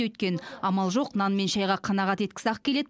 өйткені амал жоқ нан мен шайға қанағат еткісі ақ келеді